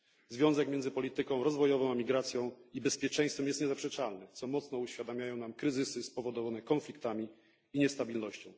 Związek między polityką rozwojową, migracją i bezpieczeństwem jest niezaprzeczalny, co mocno uświadamiają nam kryzysy spowodowane konfliktami i niestabilnością.